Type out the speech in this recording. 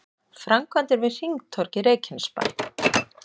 Framkvæmdir við hringtorg í Reykjanesbæ